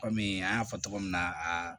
Kɔmi an y'a fɔ cogo min na aa